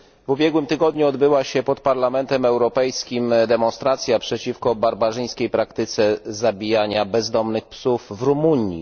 W ubiegłym tygodniu odbyła się pod Parlamentem Europejskim demonstracja przeciwko barbarzyńskiej praktyce zabijania bezdomnych psów w Rumunii.